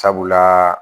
Sabula